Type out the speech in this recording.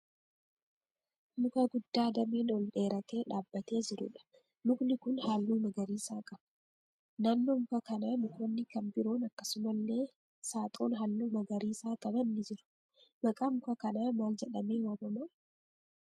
Muka guddaa dameen ol dheeratee dhaabbatee jiruudha. mukni kun halluu magariisaa qaba. naannoo muka kanaa mukoonni kan biroon akkasumallee saaxoon halluu magariisaa qaban ni jiru. Maqaan muka kanaa maal jedhamee waamamaa?